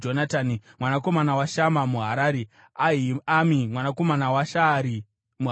mwanakomana waShama muHarari, Ahiami mwanakomana waSharari muHarari,